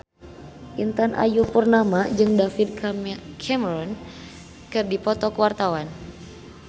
Intan Ayu Purnama jeung David Cameron keur dipoto ku wartawan